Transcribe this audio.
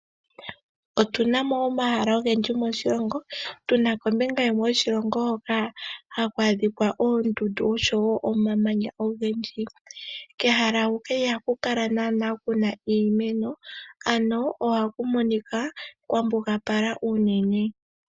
Otuna mo omahala ogendji moshilongo, tuna kombinga yimwe yoshilongo hoka haku adhikwa oondundu osho omamanya ogendji. Kehala huka ihaku kala naana kuna iimeno, ano ohaku monika kwambugapala uunene.